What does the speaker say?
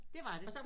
Det var det